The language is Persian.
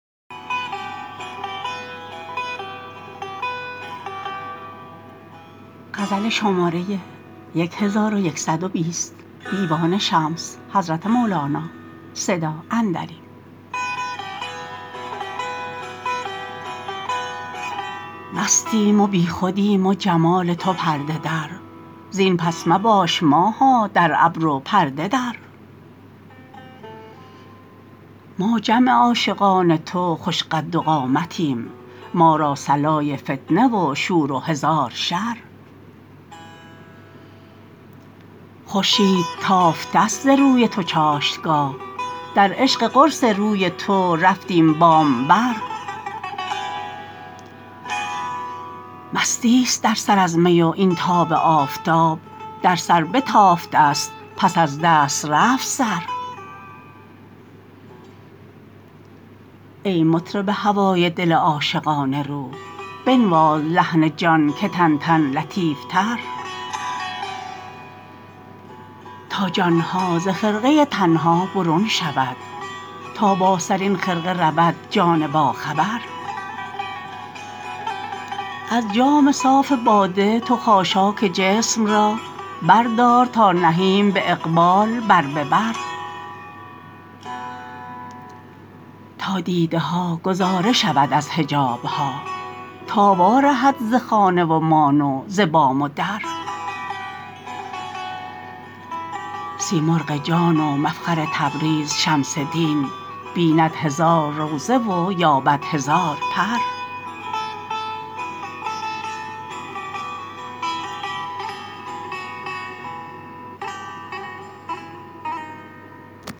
مستیم و بیخودیم و جمال تو پرده در زین پس مباش ماها در ابر و پرده در ما جمع عاشقان تو خوش قد و قامتیم ما را صلای فتنه و شور و هزار شر خورشید تافتست ز روی تو چاشتگاه در عشق قرص روی تو رفتیم بام بر مستیست در سر از می و این تاب آفتاب در سر بتافتست پس از دست رفت سر ای مطرب هوای دل عاشقان روح بنواز لحن جان که تننتن لطیفتر تا جان ها ز خرقه تن ها برون شود تا بر سرین خرقه رود جان باخبر از جام صاف باده تو خاشاک جسم را بردار تا نهیم به اقبال بر به بر تا دیده ها گذاره شود از حجاب ها تا وارهد ز خانه و مان و ز بام و در سیمرغ جان و مفخر تبریز شمس دین بیند هزار روضه و یابد هزار پر